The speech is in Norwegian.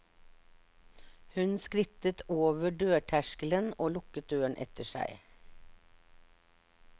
Hun skrittet over dørterskelen og lukket døren etter seg.